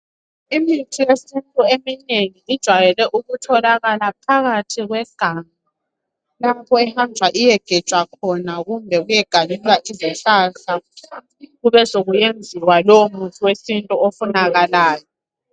Imithi yesintu eminengi ,ijwayele ukutholakala phakathi kweganga. Lapho ehanjwa iyegejwa khona kumbe kuyeganyulwa izihlahla kube sekusenziwa lowo muthi wesintu ofunakalayo.